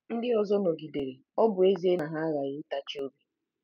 Ndị ọzọ nọgidere, ọ bụ ezie na ha aghaghị ịtachi obi.